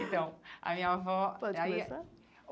Então, a minha avó aí eh... Pode começar.